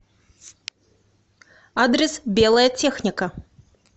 адрес белая техника